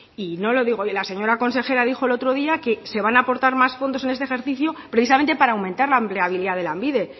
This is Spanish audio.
y no lo digo yo la señora consejera dijo el otro día que se van a aportar más fondos en este ejercicio precisamente para aumentar la empleabilidad de lanbide